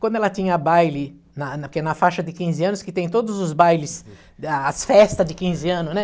Quando ela tinha baile, na na que é na faixa de quinze anos, que tem todos os bailes, as festas de quinze anos, né?